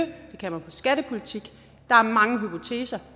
og skattepolitik der er mange hypoteser